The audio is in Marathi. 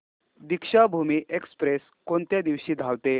दीक्षाभूमी एक्स्प्रेस कोणत्या दिवशी धावते